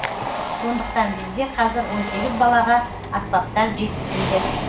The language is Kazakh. сондықтан бізде қазір он сегіз балаға аспаптар жетіспейді